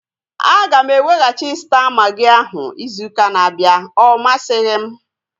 Aga m eweghachi Staa magị ahu izu ụka na-abịa. Ọ masighi m